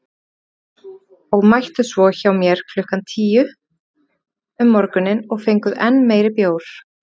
SOPHUS: Og mættuð svo hjá mér klukkan tíu um morguninn og fenguð enn meiri bjór.